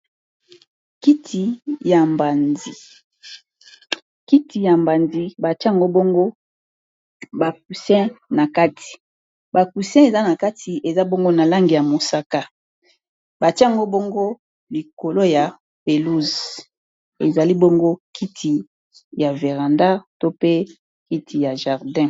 kiti ya jardin batiango bongo ba coussin na kati ,eza na kati eza bongo na langi ya mosaka batiango bongo likolo ya pelouse ezali bongo kiti ya veranda to pe kiti ya jardin